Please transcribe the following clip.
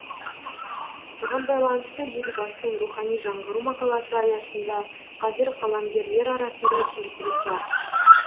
соған байланысты елбасының рухани жаңғыру мақаласы аясында қазір қаламгерлер арасында серпіліс бар